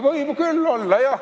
Võib küll olla, jah.